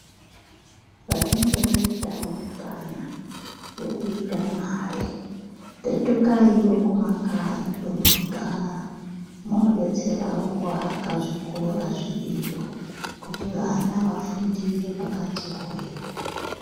Vanenge vaita mukanwa wokuita mari, petukayiwo kumakanyi pamunogara munodetserawo kuwaka zvikora zviriyo kuti vana vafundire pakati hwee.